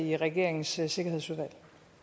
i regeringens sikkerhedsudvalg